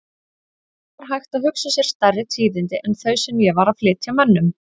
Er hægt að hugsa sér stærri tíðindi en þau sem ég var að flytja mönnum?!